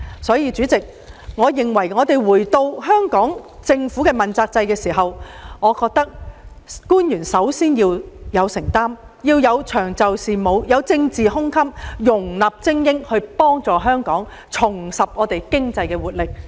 所以，回到香港政府主要官員問責制這議題，我認為官員首先要有承擔精神，必須長袖善舞，具有容納精英的政治胸襟，這才有助香港重拾經濟活力。